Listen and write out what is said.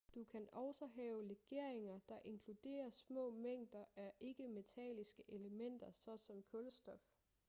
du kan også have legeringer der inkluderer små mængder af ikke-metalliske elementer såsom kulstof